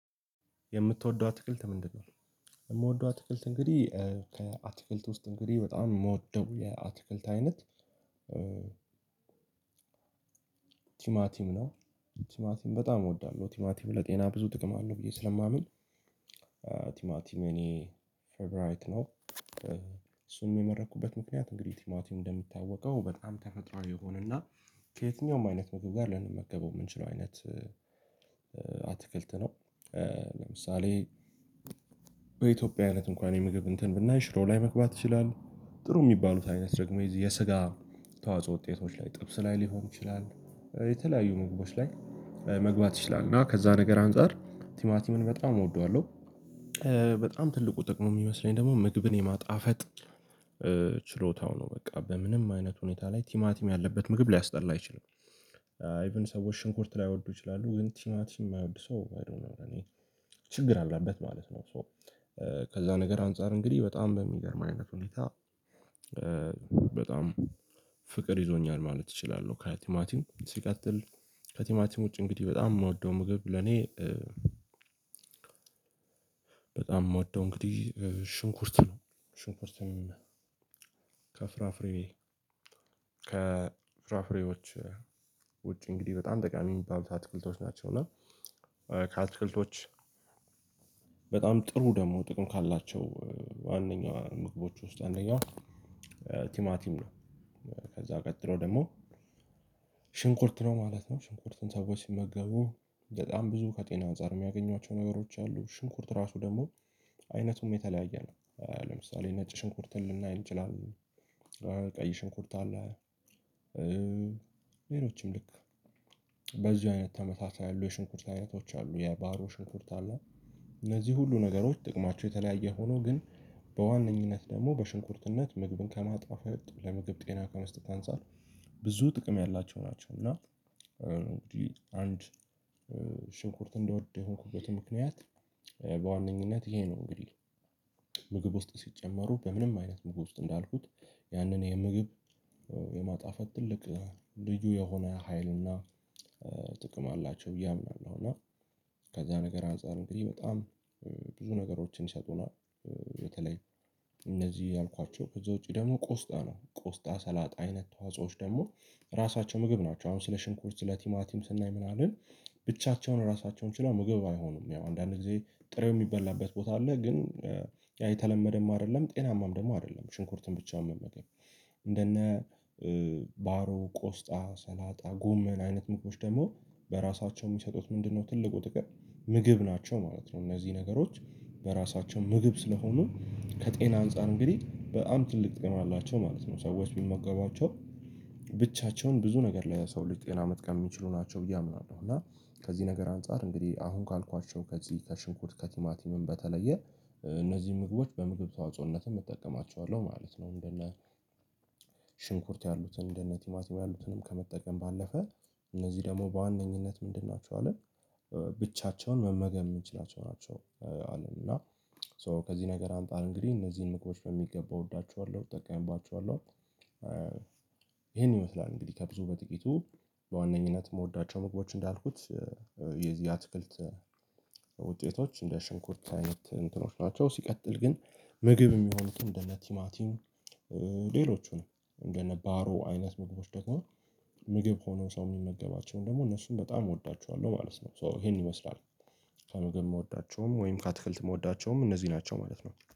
የምትወደው አትክልት ምንድነው? የምወደው አትክልት እንግዲህ ከአትክልት ውስጥ እንግዲህ በጣም የምወደው የአትክልት አይነት ቲማቲም ነው። ቲማቲም በጣም እወዳለሁ ቲማቲም ለጤና ብዙ ጥቅም አለው ብዬ ስለማምን። ቲማቲም የእኔ ፌብራይት ነው እሱን የመረጥኩበት ምክንያት እንግዲህ ቲማቲም እንደሚታወቀው በጣም ተፈጥሮአዊ የሆነና ከየትኛውም አይነት ምግብ ጋር ልንመገበው የምንችለው አይነት አትክልት ነው። ለምሳሌ በኢትዮጵያ አይነት እንኳን የምግብ እንትን ብናይ ሽሮ ላይ መግባት ይችላል። ጥሩ የሚባሉት አይነት ደግሞ የዚ የስጋ ተዋጽኦ ውጤቶች ላይ ጥብስ ላይ ሊሆን ይችላል የተለያዩ ምግቦች ላይ መግባት ይችላል። እና ከዛ ነገር አንፃር ቲማቲምን በጣም እወደዋለሁ። በጣም ትልቁ ጥቅም ነው የሚመስለኝ ደግሞ ምግብን የማጣፈጥ ችሎታው ነው በቃ በምንም አይነት ሁኔታ ላይ ቲማቲም ያለበት ምግብ ሊያስጠላ አይችልም። ኢቭን ሰዎች ሽንኩርት ላይወዱ ይችላሉ ግን ቲማቲም የማይወድ ሰው ችግር አለበት ማለት ነው። ከዛ ነገር አንፃር እንግዲህ በጣም በሚገርም አይነት ሁኔታ በጣም ፍቅር ይዞኛል ማለት እችላለሁ። ከቲማቲም ሲቀጥል ከቲማቲም ውጪ እንግዲህ በጣም የምወደው ምግብ ለኔ በጣም ምወደው እንግዲህ ሽንኩርት ነው። ሽንኩርት ከፍራፍሬ ከፍራፍሬዎች ውጪ እንግዲህ በጣም ጠቃሚ ሚባሉት አትክልቶች ናቸው። እና ከአትክልቶች በጣም ጥሩ ደግሞ ጥቅም ካላቸው ዋነኛ ምግቦች ውስጥ አንደኛው ቲማቲም ነው። ከዛ ቀጥሎ ደግሞ ሽንኩርት ነው ማለት ነው። ሽንኩርትን ሰዎች ሲመገቡ በጣም ብዙ ከጤና አንፃር የሚያገኟቸው ነገሮች አሉ። ሽንኩርት ራሱ ደግሞ አይነቱም የተለያየ ነው። ለምሳሌ ነጭ ሽንኩርትን ልናይ እንችላለን ቀይ ሽንኩርት አለ። ሌሎችም ልክ በዚሁ አይነት ተመሳሳይ አሉ የሽንኩርት አይነቶች አሉ የባህሩ ሽንኩርት አለ። እነዚህ ሁሉ ነገሮች ጥቅማቸው የተለያየ ሁኖ ግን በዋነኝነት ደግሞ በሽንኩርትነት ምግብን ከማጥፋፍ ለምግብ ጤና ከመስጠት አንፃር ብዙ ጥቅም ያላቸው ናቸው። እና እንግዲህ አንድ ሽንኩርት እንድወድ የሆንኩበት ምክንያት በዋነኝነት ይሄ ነው። እንግዲህ ምግብ ውስጥ ሲጨመሩ በምንም አይነት ምግብ ውስጥ እንዳልኩት ያንን የምግብ የማጣፈት ትልቅ ልዩ የሆነ ሀይልና ጥቅም አላቸው ብዬ አምናለሁ። እና ከዛ ነገር አንፃር እንግዲህ በጣም ብዙ ነገሮችን ይሰጡናል። በተለይ እነዚህ ያልኳቸው ከዚ ውጪ ደግሞ ቆስጣ ነው ቆስጣ ሰላጥ አይነት ተዋጾዎች ደግሞ ራሳቸው ምግብ ናቸው። አሁን ስለ ሽንኩርት ስለ ቲማቲም ስናይ ምናምን ብቻቸውን ራሳቸውን ችለው ምግብ አይሆኑም ያው አንዳንዴ ጥሬው የሚበላበት ቦታ አለ። ግን ያ የተለመደም አይደለም ጤናማም ደግሞ አይደለም። ሽንኩርትን ብቻውን መመገብ እንደነ ባሮ ቆስጣ ሰላጣ ጎመን አይነት ምግቦች ደግሞ በራሳቸው የሚሰጡት ምንድነው ትልቁ ጥቅም ምግብ ናቸው ማለት ነው። እነዚህ ነገሮች በራሳቸው ምግብ ስለሆኑ ከጤና አንፃር እንግዲህ በጣም ትልቅ ጤና አላቸው ማለት ነው። ሰዎች ቢመገባቸው ብቻቸውን ብዙ ነገር ለሰው ሌጅ ጤና መጥቀም ሚችሉ ነገሮች ናቸው ብየ አምናለሁ። እና ከዚህ ነገር አንፃር እንግዲህ አሁን ካልኳቸው ከዚህ ከሽንኩር ከቲማቲምም በተለየ እነዚህ ምግቦች በምግብ ተዋጽኦነትም እጠቀማቸዋለሁ ማለት ነው። እንደነ ሽንኩርት ያሉትን እንደነ ቲማቲማ ያሉትንም ከመጠቀም ባለፈ እነዚህ ደግሞ በዋነኝነት ምንድን ናቸው አልን? ብቻቸውን መመገብ የምንችላቸው ናቸው። አለን እና ሶ ከዚህ ነገር አምጣ እንግዲህ እነዚህን ምግቦች በሚገባ እወዳቸዋለሁ እጠቀምባቸዋለሁ። ይሄን ይመስላል ከብዙ በጥቂቱ በዋነኝነት ምወዳቸው ምግቦች እንዳልኩት የዚህ አትክልት ውጤቶች እንደ ሽንኩርት አይነት እንትኖች ናቸው። ሲቀጥል ግን ምግብ የሚሆኑትን እንደነ ቲማቲን ሌሎቹ ነው እንደነ ባሮ አይነት ምግቦች ደግሞ ምግብ ሆኖ ሰው የሚመገባቸውን ደግሞ እነሱን በጣም እወዳቸዋለሁ ማለት ነው። ሶ ይሄን ይመስላል ከምግብ የምወዳቸውም ወይም ከአትክልት የምወዳቸውም እነዚህ ናቸው ማለት ነው